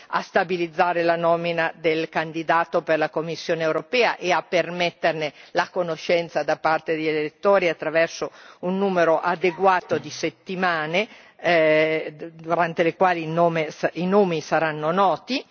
a stabilizzare la nomina del candidato per la Commissione europea e a permetterne la conoscenza da parte degli elettori attraverso un numero adeguato di settimane durante le quali i nomi saranno noti